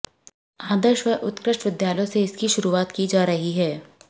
आदर्श व उत्कृष्ट विद्यालयों सेे इसकी षुरूआत की जा रहीं है